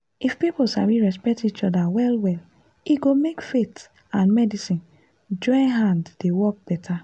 if people sabi respect each other well-well e go make faith and medicine join hand dey work better.